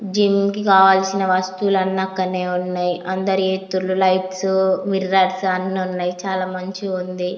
Gym కావాల్సిన వస్తువులన్నీ అక్కడే ఉన్నాయి అందరూ చేస్తుర్రు లైట్స్ మిర్రర్స్ అన్ని ఉన్నాయి చాలా మంచిగా ఉంది.